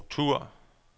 struktur